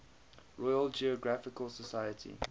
royal geographical society